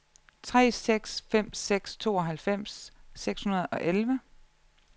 tre seks fem seks tooghalvfems seks hundrede og elleve